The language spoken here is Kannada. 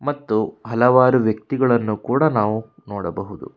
ಮತ್ತು ಹಲವಾರು ವ್ಯಕ್ತಿಗಳನ್ನು ಕೂಡ ನಾವು ನೋಡಬಹುದು.